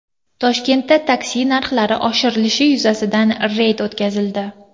Toshkentda taksi narxlari oshirilishi yuzasidan reyd o‘tkazildi.